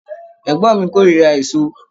Ẹgbọn mi korira èso